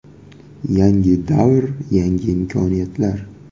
Yangi davr – yangi imkoniyatlar!